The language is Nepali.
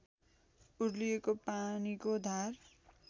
उर्लिएको पानीको धार